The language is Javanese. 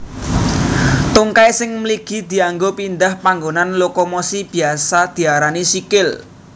Tungkai sing mligi dianggo pindhah panggonan lokomosi biasa diarani sikil